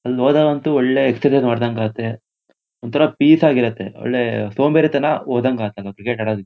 ಅಲ್ ಹೋದಾಗ ಅಂತು ಒಳ್ಳೆ ಎಕ್ಷೆರ್ಸೈಸ್ ಮಾಡದಂಗ್ ಆಗುತ್ತೆ. ಒಂತರ ಪೀಸ್ ಆಗಿರುತ್ತೆ. ಒಳ್ಳೆ ಸೋಂಬೇರಿತನ ಹೋದಂಗೆ ಆಗುತ್ತೆ ಕ್ರಿಕೆಟ್ ಆಡೋದಿಕ್ಕೆ--